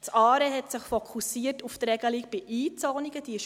Das ARE hat sich auf die Regelung bei Einzonungen fokussiert.